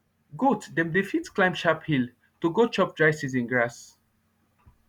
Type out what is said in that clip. goat dem dey fit climb sharp hill to go chop dry season grass